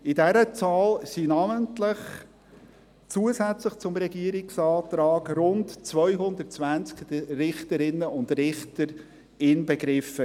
In dieser Zahl waren namentlich, zusätzlich zum Regierungsantrag, rund 220 Richterinnen und Richter inbegriffen.